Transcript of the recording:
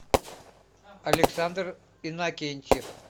александр иннокентьев